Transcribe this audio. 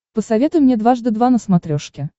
посоветуй мне дважды два на смотрешке